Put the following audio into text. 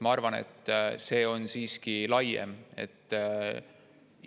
Ma arvan, et see on siiski laiem.